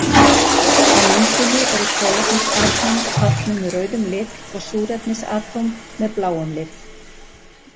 Á myndinni eru kolefnisatóm táknuð með rauðum lit og súrefnisatóm með bláum lit.